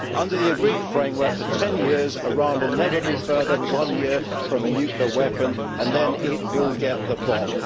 Under the agreed framework for 10 years, Iran will never be further than one year from a nuclear weapon, and then it will get the bomb.